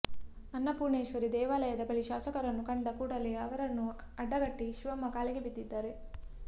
ಅನ್ನಪೂರ್ಣೇಶ್ವರಿ ದೇವಾಲಯದ ಬಳಿ ಶಾಸಕರನ್ನು ಕಂಡ ಕೂಡಲೇ ಅವರನ್ನು ಅಡ್ಡಗಟ್ಟಿ ಶಿವಮ್ಮ ಕಾಲಿಗೆ ಬಿದ್ದಿದ್ದಾರೆ